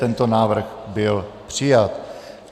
Tento návrh byl přijat.